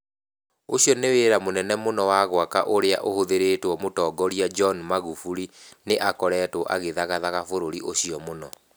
Ũcio nĩ wĩra mũnene mũno wa gwaka ũrĩa ũhũthĩrĩtwo Mũtongoria John Magufuli nĩ akoretwo agĩthagathaga bũrũri ũcio mũno.